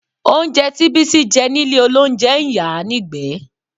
Oúnjẹ tí Bísí jẹ nílé olóúnjẹ ń yàá nígbẹ̀ẹ́